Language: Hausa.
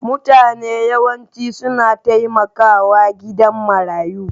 Mutane yawanci suna taimakawa gidajen marayu.